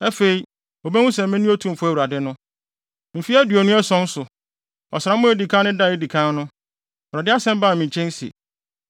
Mfe aduonu ason so, ɔsram a edi kan no da a edi kan no, Awurade asɛm baa me nkyɛn se: